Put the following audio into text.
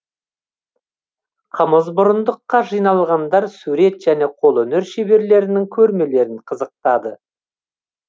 қымызмұрындыққа жиналғандар сурет және қолөнер шеберлерінің көрмелерін қызықтады